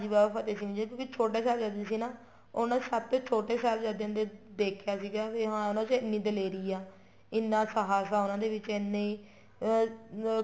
ਹਾਂਜੀ ਬਾਬਾ ਫ਼ਤਿਹ ਸਿੰਘ ਜੀ ਕਿਉਂਕਿ ਛੋਟੋ ਸਾਹਿਬਜ਼ਾਦੇ ਸੀ ਨਾ ਉਹਨਾ ਦੇ ਸਭ ਤੋ ਛੋਟੋ ਸਾਹਿਬਜ਼ਾਦੇ ਦੇਖਿਆ ਸੀਗਾ ਵੀ ਹਨ ਉਹਨਾ ਚ ਐਨੀਂ ਦਲੇਰੀ ਆ ਇੰਨਾ ਸ਼ਾਸ ਆ ਉਹਨਾ ਦੇ ਵਿੱਚ ਇੰਨੀ ਅਹ